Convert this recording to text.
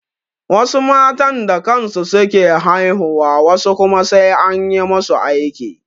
Wasu matan da kansu su ke haihuwa wasu kuma sai an yi masu aiki.